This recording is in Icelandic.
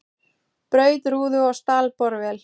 Braut rúðu og stal borvél